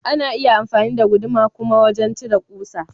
Ana iya amfani da guduma kuma wajan cire ƙusa.